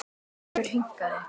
Sjálfur hikaði